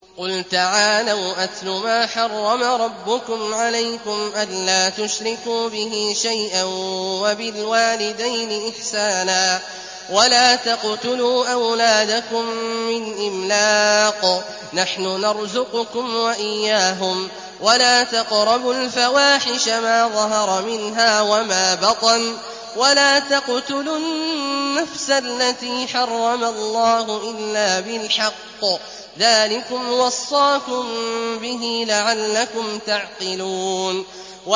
۞ قُلْ تَعَالَوْا أَتْلُ مَا حَرَّمَ رَبُّكُمْ عَلَيْكُمْ ۖ أَلَّا تُشْرِكُوا بِهِ شَيْئًا ۖ وَبِالْوَالِدَيْنِ إِحْسَانًا ۖ وَلَا تَقْتُلُوا أَوْلَادَكُم مِّنْ إِمْلَاقٍ ۖ نَّحْنُ نَرْزُقُكُمْ وَإِيَّاهُمْ ۖ وَلَا تَقْرَبُوا الْفَوَاحِشَ مَا ظَهَرَ مِنْهَا وَمَا بَطَنَ ۖ وَلَا تَقْتُلُوا النَّفْسَ الَّتِي حَرَّمَ اللَّهُ إِلَّا بِالْحَقِّ ۚ ذَٰلِكُمْ وَصَّاكُم بِهِ لَعَلَّكُمْ تَعْقِلُونَ